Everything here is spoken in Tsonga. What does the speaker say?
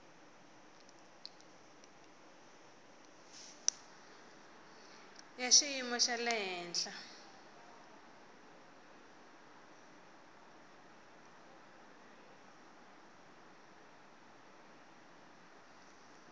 ya xiyimo xa le henhla